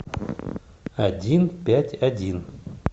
один пять один